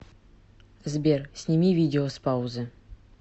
сбер сними видео с паузы